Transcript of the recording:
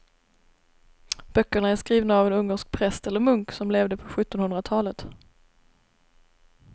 Böckerna är skrivna av en ungersk präst eller munk som levde på sjuttonhundratalet.